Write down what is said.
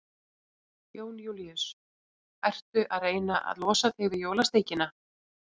Jón Júlíus: Ertu að reyna að losa þig við jólasteikina?